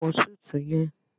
Wọ súùtù yẹn